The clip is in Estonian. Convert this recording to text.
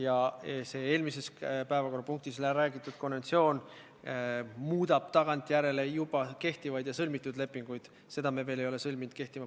Aga kuna ma Helirit siin ei näe ja tema käest küsida seda ei saa ning Siimu ma ka hetkel siin ei näe, siis küsin, kas te helistasite mõlemale juhatuse liikmele ja andsite kogu ülevaate sellest, mis seisus me oleme.